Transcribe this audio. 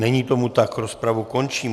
Není tomu tak, rozpravu končím.